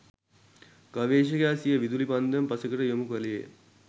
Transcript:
ගවේෂකයා සිය විදුලි පන්දම පසෙකට යොමු කළේය.